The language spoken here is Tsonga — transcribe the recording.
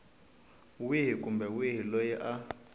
wihi kumbe wihi loyi a